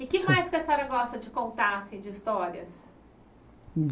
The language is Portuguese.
E o que mais que a senhora gosta de contar assim de histórias?